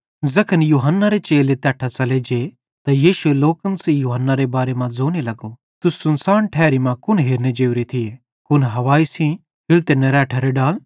ज़ैखन यूहन्नारे चेले तैट्ठां च़ले जे त यीशु लोकन सेइं यूहन्नारे बारे मां ज़ोने लगो तुस सुनसान ठैरी कुन हेरने जोरे थिये कुन हवाई सेइं हिलते निरैठरे डाल